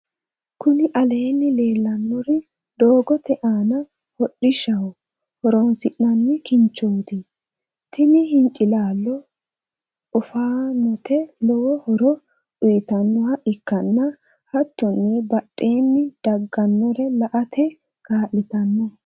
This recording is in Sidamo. kuni aleenni leellanori doogote aana hodhishaho horoonsi'nanni hincilaloti. tini hincilaalo oofanote lowo horo uyitannoha ikkanna hattonni badheenni daanore la"ate kaa'litanno.